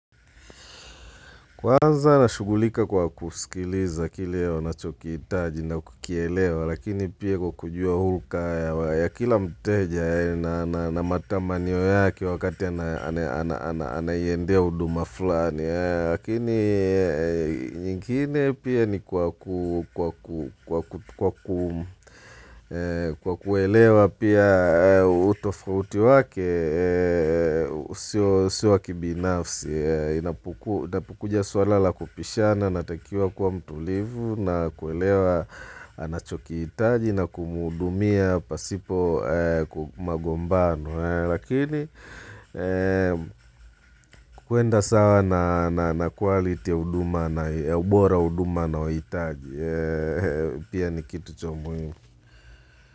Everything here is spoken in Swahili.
Kwanza nashughulika kwa kuskiliza kile wanachokihitaji na kukielewa, lakini pia kwa kujua huluka ya kila mteja na matamanio yake wakati anaiendea huduma fulani. Lakini nyingine pia ni kwa kuelewa pia utofauti wake Sio wakibinafsi inapokuja suala la kupishana natakiwa kwa mtulivu na kuelewa anachokihitaji na kumuhudumia pasipo magombano Lakini kuenda sawa na kualiti ya ubora huduma anaohitaji Pia ni kitu cha umuhimu.